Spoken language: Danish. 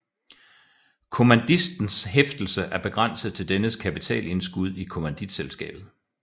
Kommanditistens hæftelse er begrænset til dennes kapitalindskud i kommanditselskabet